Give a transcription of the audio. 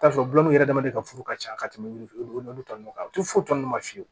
I bi taa sɔrɔ bulon yɛrɛ dama de ka furu ka ca ka tɛmɛ ulu tɔ nunnu kan u ti foyi tɔnnan ma fiyewu